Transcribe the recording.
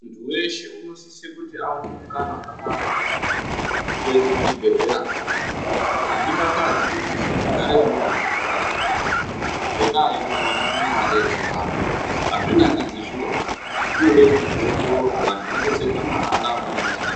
Muntu weshe unosisa kuti aware mukana wakafanana neumweni wekuenda kuchibhedhlera kunorapwa azvidakadzi kuti muntu ugare nemuntu unorwara kumakanyi ngenda yekuti watame mare yekorapwa azvinakidzi zvirozvo zvinofana kuti zviongororwe vantu vabatsirwe mahara vanenge vasina mare .